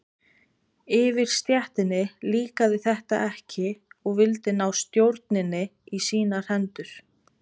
Yfirstéttinni líkaði þetta ekki og vildi ná stjórninni í sínar hendur.